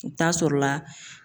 I bɛ taa sɔrɔ la